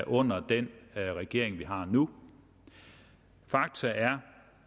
under den regering vi har nu fakta er